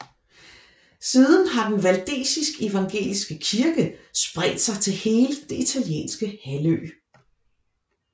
Siden har den valdesisk evangeliske kirke spredt sig til hele den Italienske halvø